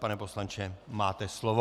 Pane poslanče, máte slovo.